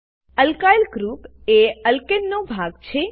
alkyl group એ અલ્કેનનો ભાગ છે